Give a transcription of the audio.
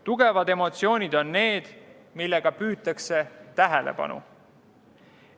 Tugevad emotsioonid on need, millega püütakse tähelepanu.